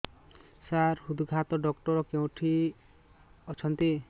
ସାର ହୃଦଘାତ ଡକ୍ଟର କେଉଁଠି ଅଛନ୍ତି